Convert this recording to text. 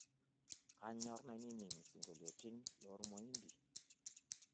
kanyor nainining' isingolioitin loormoindi